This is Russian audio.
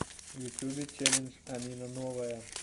в ютубе челлендж амина новая